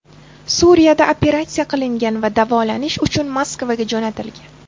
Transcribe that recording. Suriyada operatsiya qilingan va davolanish uchun Moskvaga jo‘natilgan.